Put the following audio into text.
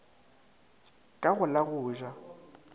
ka go la go ja